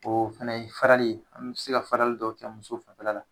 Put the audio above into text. O fana ye farali ye, an bɛ se ka farali dɔw kɛ muso fanfɛla la.